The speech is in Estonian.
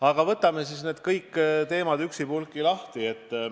Aga võtame siis kõik need teemad üksipulgi lahti.